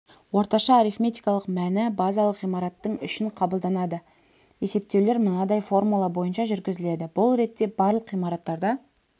орташа арифметикалық мәні базалық ғимараттың үшін қабылданады есептеулер мынадай формула бойынша жүргізіледі бұл ретте барлық ғимараттарда